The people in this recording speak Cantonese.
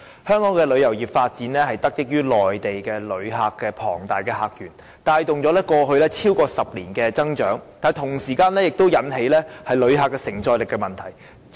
香港旅遊業的發展得益於內地旅客的龐大客源，帶動了過去超過10年的增長，但同時引起旅客承載力的問題。